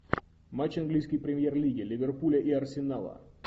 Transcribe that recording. матч английской премьер лиги ливерпуля и арсенала